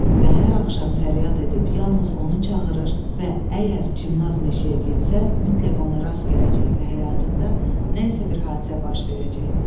və hər axşam fəryad edib yalnız onu çağırır və əgər Çimnaz meşəyə getsə, mütləq ona rast gələcək və həyatında nəsə bir hadisə baş verəcək.